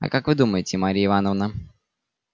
а как вы думаете марья ивановна